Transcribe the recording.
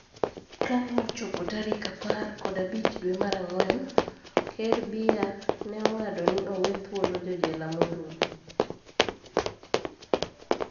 Ka ne ochopo tarik apar kod abich dwe mar ang`wen, Ker Biya ne ong`ado ni owe thuolo jojela modhuro